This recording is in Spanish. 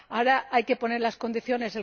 Ahora hay que poner las condiciones.